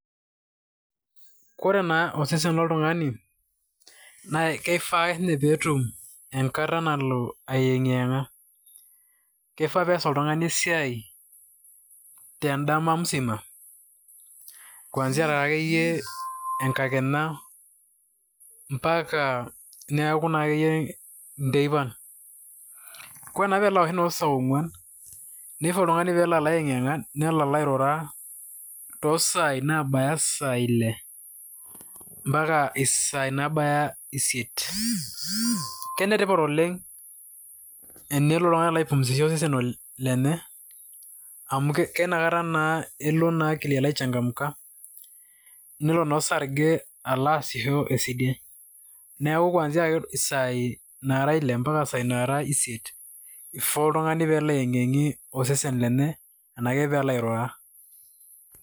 Kore naa osesen loltung'ani na kifaa ake siinye pee etum enkata nalo aiyeng'iyeng'a, kifaa pees oltung'ani esiai te ndama mzima kuanzia taa akeyie enkakenya mpaka neeku naake iyie nteipan. Kore naa pee ebaya saa ong'uan nifaa oltung'ani peelo alo aiyeng'iyeng'a nelo alo airura too saai nabaaya isai ile mpaka isai nabaya isiet. Kenetipat oleng' enelo oltung'ani alo aipumzisha osesen lenye amu keina kata naa elo akili alo aichangamka nelo naa osarge alo aasisho esidai. Neeku kuanzia ake isai nara ile mpaka sai nara isiet ifaa oltung'ani peelo aiyeng'iyeng'ie osesen lenye enake peelo airura.